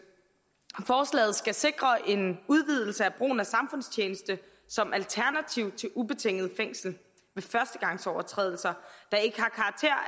forslaget skal sikre en udvidelse af brugen af samfundstjeneste som alternativ til ubetinget fængsel ved førstegangsovertrædelser der ikke